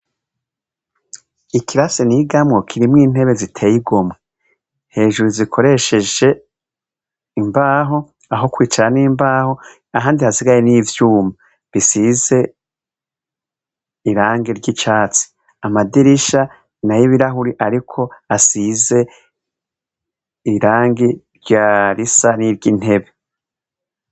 ikirasi n' igamo kirimw intebe ziteye igoma hejuru zikoresheje imbaho aho kwicara n'imbaho ahandi hasigaye n'ivyuma bisize irangi ry'icyatsi amadirisha ina y'ibirahuri ariko asize irangi rya risa n'iry'intebe